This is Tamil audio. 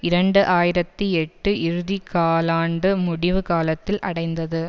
இரண்டு ஆயிரத்தி எட்டு இறுதி காலாண்டு முடிவு காலத்தில் அடைந்தது